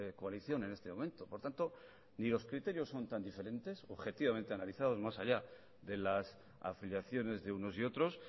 coalición en este momento por tanto ni los criterios son tan diferentes objetivamente analizados más allá de las afiliaciones de unos y otros